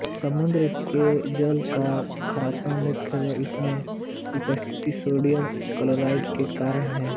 समुद्र के जल का खारापन मुख्यतः उसमें उपस्थित सोडियम क्लोराइड के कारण है